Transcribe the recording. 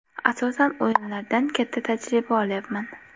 Asosan o‘yinlardan katta tajriba olyapman.